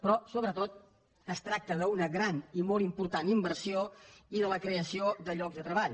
però sobretot es tracta d’una gran i molt important inversió i de la creació de llocs de treball